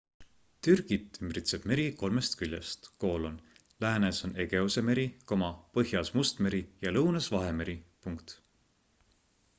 türgit ümbritseb meri kolmest küljest läänes on egeuse meri põhjas must meri ja lõunas vahemeri